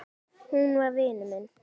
Hún var vinur minn.